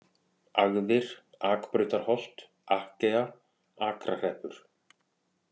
Agðir, Akbrautarholt, Akkea, Akrahreppur